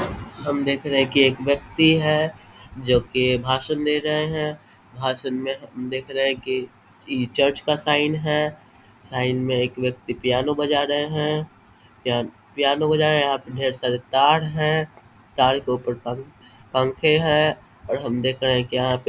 हम देख रहे हैं की एक व्यक्ति है जो की भाषण दे रहे हैं भाषण में हम देख रहे की इ चर्च का साइन है साइन में एक व्यक्ति पियानो बजा रहे हैं पिया पियानो बजा रहे हैं ढेर सारे तार हैं तार के ऊपर पं पंखे है और हम देख रहे हैं यहाँ पे --